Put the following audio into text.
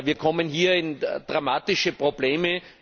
Wir kommen hier in dramatische Probleme.